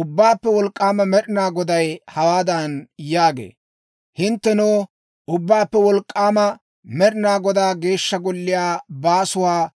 Ubbaappe Wolk'k'aama Med'inaa Goday hawaadan yaagee; «Hinttenoo, Ubbaappe Wolk'k'aama Med'inaa Godaa Geeshsha Golliyaa baasuwaa